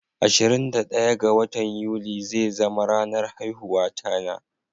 Ashirin da daya ga watan yuli zai zama ranar haihuwata na.